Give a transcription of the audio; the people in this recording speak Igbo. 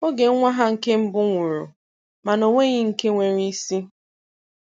oge nwa ha nke mbụ nwụrụ mana o nweghị nke nwere isi.